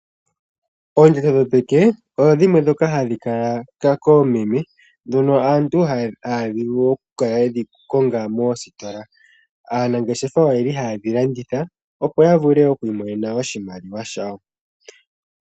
Oondjato dhopeke odho dhimwe ndhoka hadhi kala koomeme ndhono aantu ohaya vulu oku kala yedhi konga moositola. Aanangeshefa oye li haye dhi landitha, opo ya vule okwiimonena oshimaliwa shayo.